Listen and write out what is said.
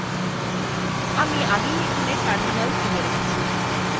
আমি আগেই এখানে terminal খুলে রেখেছি